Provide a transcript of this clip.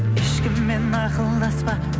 ешкіммен ақылдаспа